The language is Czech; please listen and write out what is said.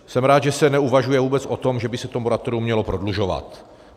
Jsem rád, že se neuvažuje vůbec o tom, že by se to moratorium mělo prodlužovat.